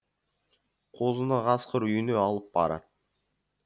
қозыны қасқыр үйіне алып барад